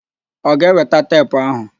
Ọ ga-eweta teepu áhụ̀?